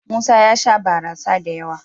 Musa ya sha barasa da yawa.